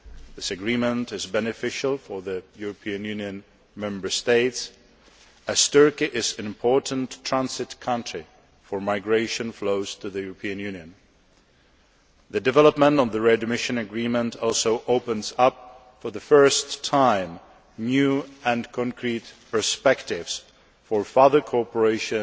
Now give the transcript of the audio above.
This agreement is beneficial for the EU Member States, as Turkey is an important transit country for migration flows to the EU. The development on the readmission agreement also opens up for the first time new and concrete perspectives for further cooperation